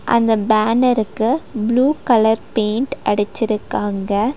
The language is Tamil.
அந்த பேனரு க்கு ப்ளூ கலர் பெயிண்ட் அடிச்சுருக்காங்க.